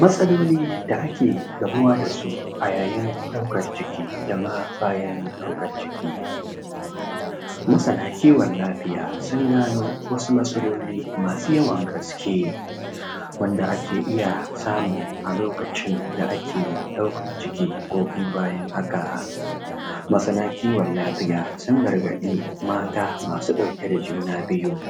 matsaloli da ake gamuwa da su a yayin ɗaukan ciki dama bayan ɗaukan ciki masana kiwon lafiya sun gano wasu matsaloli masu yawan gaske wanda ake iya samu a lokacin da ake ɗaukan ciki ko kuma bayan haka masana kiwon lafiya sun gargaɗi mata masu ɗauke da juna biyu